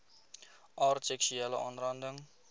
aard seksuele aanranding